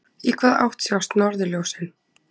Í hvaða átt sjást norðurljósin?